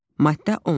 Maddə 10.